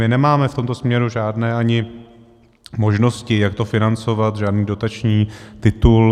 My nemáme v tomto směru ani žádné možnosti, jak to financovat, žádný dotační titul.